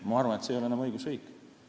Ma arvan, et see ei oleks enam õigusriik.